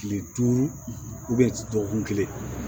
Kile duuru dɔgɔkun kelen